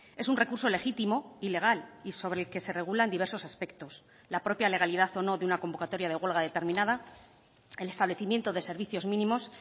es un recurso legítimo y legal y sobre el que se regulan diversos aspectos la propia legalidad o no de una convocatoria de huelga determinada el establecimiento de servicios mínimos